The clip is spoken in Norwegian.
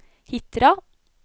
Hitra